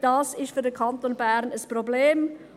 Dies ist für den Kanton Bern ein Problem.